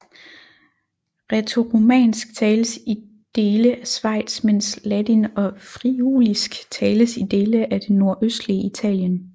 Rætoromansk tales i dele af Schweiz mens ladin og friulisk tales i dele af det nordøstlige Italien